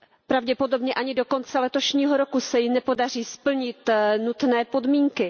Pravděpodobně ani do konce letošního roku se jí nepodaří splnit nutné podmínky.